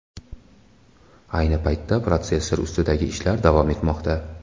Ayni paytda protsessor ustidagi ishlar davom etmoqda.